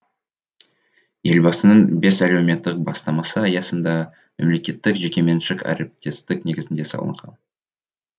елбасының бес әлеуметтік бастамасы аясында мемлекеттік жекеменшік әріптестік негізінде салынған